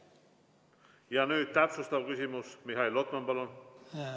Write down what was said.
Ja nüüd täpsustav küsimus, Mihhail Lotman, palun!